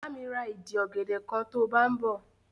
Bá mi ra ìdì ọ̀gẹ̀dẹ̀ kan to bá ń bọ̀.